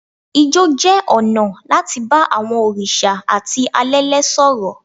Ijó jẹ́ ọ̀nà láti bá àwọn òrìṣà àti alẹ́lẹ̀ sọ̀rọ̀.